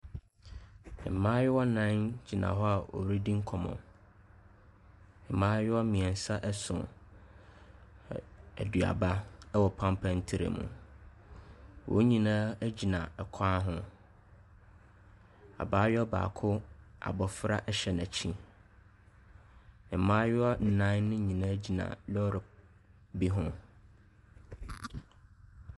Mmaayewa nnan gyina hɔ a wɔredi nkɔmmɔ, mmaayewa mmiɛnsa so aduaba wɔ pampan tray mu, wɔn nyinaa gyina kwan ho. Abaayewa baako, abofra hyɛ n’akyi. Mmaayewa nnan ne nyinaa gyina lɔɔre bi ho.